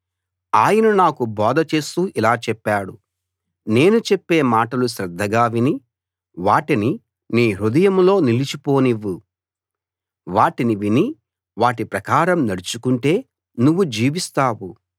ఆయన నాకు బోధ చేస్తూ ఇలా చెప్పాడు నేను చెప్పే మాటలు శ్రద్ధగా విని వాటిని నీ హృదయంలో నిలిచిపోనివ్వు వాటిని విని వాటి ప్రకారం నడుచుకుంటే నువ్వు జీవిస్తావు